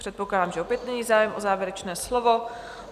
Předpokládám, že opět není zájem o závěrečné slovo.